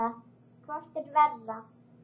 Hvort er verra?